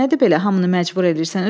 Nədir belə hamını məcbur eləyirsən?